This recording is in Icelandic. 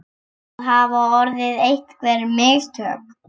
Það hafa orðið einhver mistök!